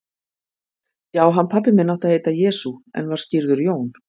Já, hann pabbi minn átti að heita Jesú, en var skírður Jón.